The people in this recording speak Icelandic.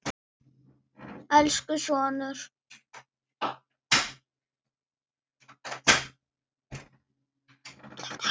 Elsku sonur.